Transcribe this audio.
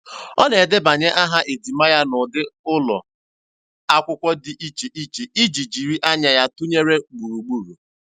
Ọ na-edebanye aha ejima ya n'ụdị ụlọ akwụkwọ dị iche iche iji jiri anya ya tụnyere gburugburu.